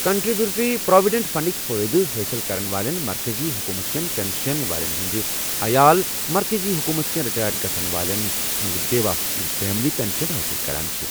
Contributory provident فنڈٕکۍ فٲیِدٕ حٲصِل کرن والین مرکزی حکوٗمت كین پنشین والٮ۪ن ہٕنٛدِ عیال مرکٔزی حکوٗمتٕ كین رِٹایَر گژھن والٮ۪ن ہِنٛز بیواہ یِم فیملی پنشیٚن حٲصِل کران چھے٘۔